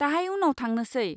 दाहाय उनाव थांनोसै।